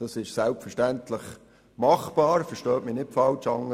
Das ist selbstverständlich machbar – verstehen Sie mich nicht falsch.